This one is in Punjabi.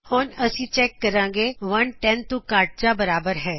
ਹੁਣ ਅਸੀ ਚੈੱਕ ਕਰਾਗੇ ਕੀ ਇੱਕ 10 ਤੋ ਘੱਟ ਜਾਂ ਬਰਾਬਰ ਹੈ